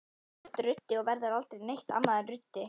Þú ert ruddi og verður aldrei neitt annað en ruddi.